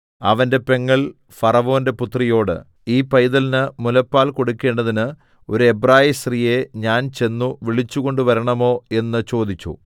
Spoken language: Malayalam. അവന്റെ പെങ്ങൾ ഫറവോന്റെ പുത്രിയോട് ഈ പൈതലിന് മുലപ്പാൽ കൊടുക്കണ്ടതിന് ഒരു എബ്രായസ്ത്രീയെ ഞാൻ ചെന്നു വിളിച്ചുകൊണ്ടുവരണമോ എന്ന് ചോദിച്ചു